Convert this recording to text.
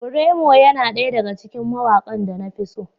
Braymo yana ɗaya daga cikin mawakan da na fi so.